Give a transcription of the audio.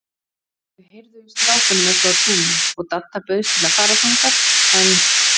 Þau heyrðu í strákunum uppi á túni og Dadda bauðst til að fara þangað, en